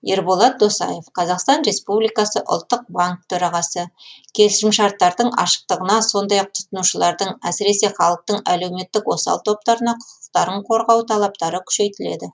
ерболат досаев қазақстан республикасы ұлттық банк төрағасы келісімшарттардың ашықтығына сондай ақ тұтынушылардың әсіресе халықтың әлеуметтік осал топтарына құқықтарын қорғау талаптары күшейтіледі